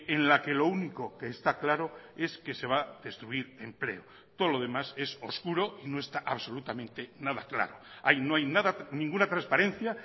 en la que lo único que está claro es que se va a destruir empleo todo lo demás es oscuro y no está absolutamente nada claro ahí no hay nada ninguna transparencia